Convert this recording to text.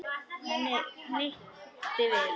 Henni hnykkti við.